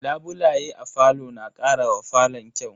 Labulaye a falo na karawa falon kyau.